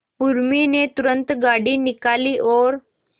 उर्मी ने तुरंत गाड़ी निकाली और